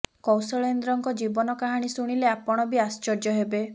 କୌଶଳେନ୍ଦ୍ରଙ୍କ ଜୀବନ କାହାଣୀ ଶୁଣିଲେ ଆପଣ ବି ଆଶ୍ଚର୍ଯ୍ୟ ହେବେ